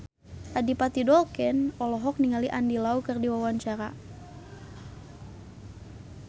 Adipati Dolken olohok ningali Andy Lau keur diwawancara